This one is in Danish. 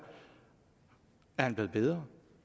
er eleven blevet bedre